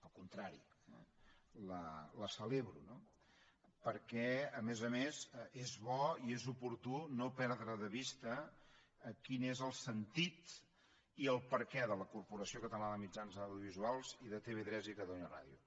al contrari la celebro no perquè a més a més és bo i és oportú no perdre de vista quin és el sentit i el perquè de la corporació catalana de mitjans audiovisuals i de tv3 i catalunya ràdio